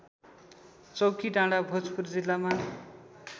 चौकीडाँडा भोजपुर जिल्लामा